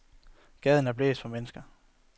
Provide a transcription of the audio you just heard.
Gaden er blæst for mennesker.